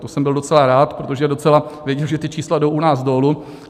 To jsem byl docela rád, protože docela vidím, že ta čísla jdou u nás dolů.